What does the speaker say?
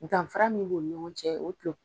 Danfara min b'u ni ɲɔgɔn cɛ o